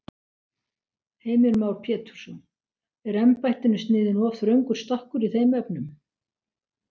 Heimir Már Pétursson: Er embættinu sniðinn of þröngur stakkur í þeim efnum?